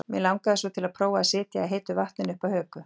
Mig langaði svo til að prófa að sitja í heitu vatninu upp að höku.